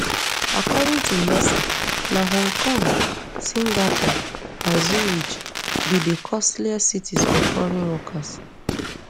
according to mercer na hong kong singapore and zurich be di costliest cities for foreign workers